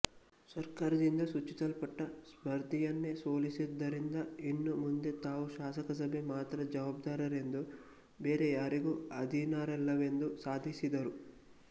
ಸರ್ಕಾರದಿಂದ ಸೂಚಿಸಲ್ಪಟ್ಟ ಸ್ಪರ್ಧಿಯನ್ನೇ ಸೋಲಿಸಿದ್ದರಿಂದ ಇನ್ನು ಮುಂದೆ ತಾವು ಶಾಸನಸಭೆಗೆ ಮಾತ್ರ ಜವಾಬ್ದಾರರೆಂದೂ ಬೇರೆ ಯಾರಿಗೂ ಅಧೀನರಲ್ಲವೆಂದೂ ಸಾಧಿಸಿದರು